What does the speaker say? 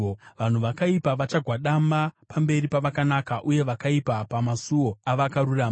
Vanhu vakaipa vachagwadama pamberi pavakanaka, uye vakaipa pamasuo avakarurama.